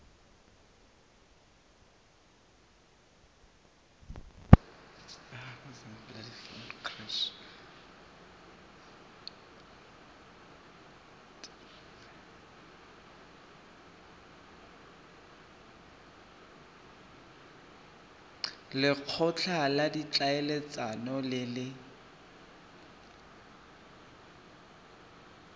lekgotla la ditlhaeletsano le le